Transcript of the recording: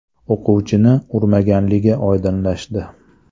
o‘quvchini urmaganligi oydinlashdi.